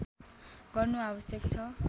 गर्नु आवश्यक छ